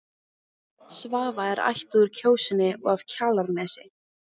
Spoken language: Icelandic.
Svava er ættuð úr Kjósinni og af Kjalarnesi.